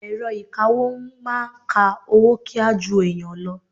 Èrọ ìkawó ń máa ka owó kíá ju ẹ̀yàn lọ.